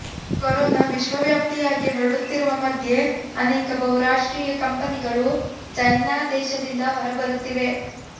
corona ವಿಶ್ವವ್ಯಾಪಿಯಾಗಿ ಹರಡುತ್ತಿರುವ ಮಧ್ಯೆ ಅನೇಕ ಬಹುರಾಷ್ಟ್ರೀಯ ಕಂಪೆನಿಗಳು ಚೈನಾ ದೇಶದಿಂದ ಹೊರಬರುತ್ತಿವೆ